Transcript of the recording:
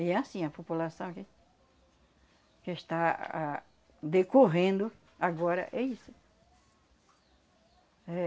E é assim, a população que que está ah decorrendo agora, é isso.